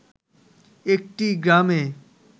একটি গ্রামে